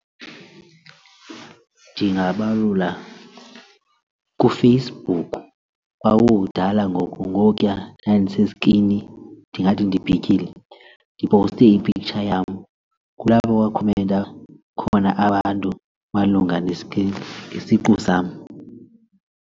Ndingabalula kuFacebook kwakudala ngoko ngokuya ndandiseskini ndingathi ndibhityile ndipowuste i-picture yam, kulapho kwakhomenta khona abantu malunga isiqu sam.